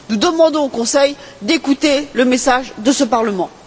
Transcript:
Nous demandons au Conseil d'écouter le message de ce Parlement.